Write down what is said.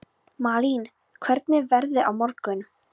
Malín, hvernig er veðrið á morgun?